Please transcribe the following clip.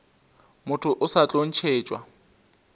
motho o sa tlo ntšhetšwa